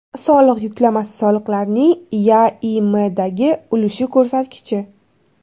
Soliq yuklamasi soliqlarning YaIMdagi ulushi ko‘rsatkichi.